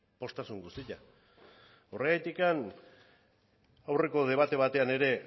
poztasun guztia horregatik aurreko debate batean ere